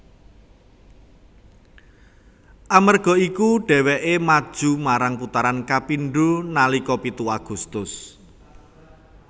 Amerga iku déwéké maju marang putaran kapindo nalika pitu Agustus